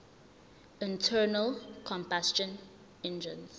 internal combustion engines